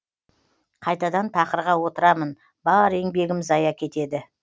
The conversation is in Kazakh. қайтадан тақырға отырамын бар еңбегім зая кетеді